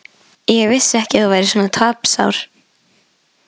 Ég vissi ekki að þú værir svona tapsár.